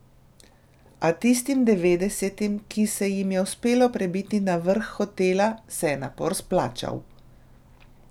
A tistim devetdesetim, ki se jim je uspelo prebiti na vrh hotela, se je napor splačal.